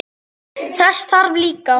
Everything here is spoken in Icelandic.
Þess þarf líka.